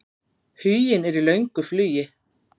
Huginn er í löngu flugi.